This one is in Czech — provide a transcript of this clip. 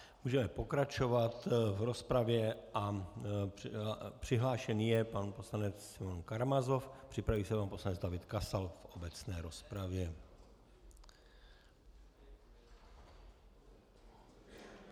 Můžeme pokračovat v rozpravě a přihlášen je pan poslanec Simeon Karamazov, připraví se pan poslanec David Kasal v obecné rozpravě.